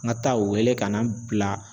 N ka taa o wele ka na n bila